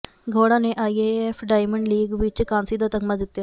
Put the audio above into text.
ਗੌਡ਼ਾ ਨੇ IAAF diamond league ਵਿੱਚ ਕਾਂਸੀ ਦਾ ਤਗ਼ਮਾ ਜਿੱਤਿਆ